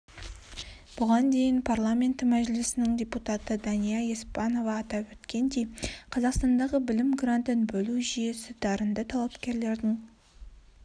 бұған дейін парламенті мәжілісінің депутаты дания еспанова атап өткендей қазақстандағы білім грантын бөлу жүйесі дарынды талапкерлердің